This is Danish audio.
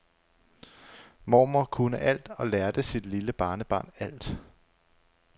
Mormor kunne alt og lærte sit lille barnebarn alt.